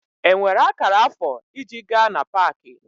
Enwere akara afọ iji gaa na Pááki?